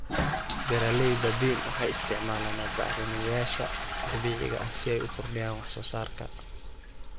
Beeralayda bean waxay isticmaalaan bacrimiyeyaasha dabiiciga ah si ay u kordhiyaan wax soo saarka.